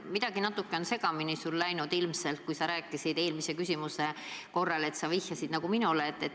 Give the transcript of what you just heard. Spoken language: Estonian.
Midagi on sul ilmselt natuke segamini läinud, kui sa eelmise küsimuse juures vihjasid minule.